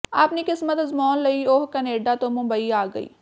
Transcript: ਆਪਣੀ ਕਿਸਮਤ ਅਜਮਾਉਣ ਲਈ ਉਹ ਕਨੇਡਾ ਤਂੋ ਮੁੰਬਈ ਆ ਗਈ